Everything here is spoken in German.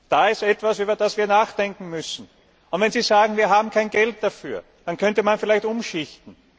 Das ist etwas, über das wir nachdenken müssen. Und wenn Sie sagen, wir haben kein Geld dafür, dann könnte man vielleicht umschichten.